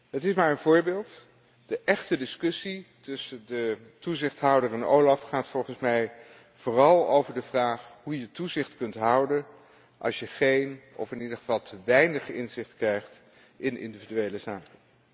Het is maar een voorbeeld, de echte discussie tussen de toezichthouder en OLAF gaat volgens mij vooral over de vraag hoe je toezicht kunt houden als je geen of in ieder geval te weinig inzicht krijgt in individuele zaken.